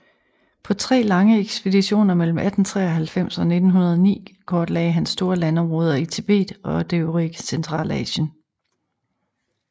På tre lange ekspeditioner mellem 1893 og 1909 kortlagde han store landområder i Tibet og det øvrige Centralasien